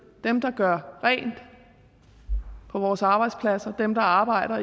dem der gør rent på vores arbejdspladser dem der arbejder